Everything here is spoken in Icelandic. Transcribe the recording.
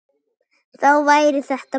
Þá væri þetta búið.